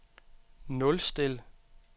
nulstil